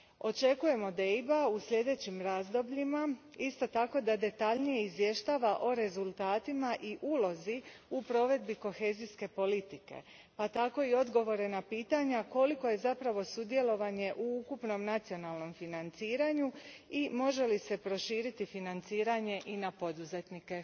Očekujem od EIB a u sljedećim razdobljima isto tako da detaljnije izvještava o rezultatima i ulozi u provedbi kohezijske politike, pa tako i odgovore na pitanja koliko je zapravo sudjelovanje u ukupnom nacionalnom financiranju i može li se proširiti financiranje i na poduzetnike.